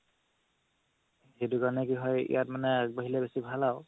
সেইটোকাৰণে কি হয় ইয়াত মানে আগবাঢ়িলে বেচি ভাল আৰু